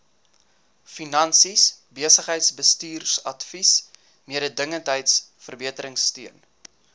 finansies besigheidsbestuursadvies mededingendheidsverbeteringsteun